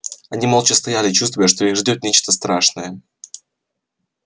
они молча стояли чувствуя что их ждёт нечто страшное